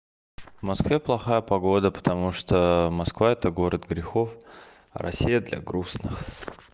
в москве плохая погода потому что москва это город грехов россия для грустных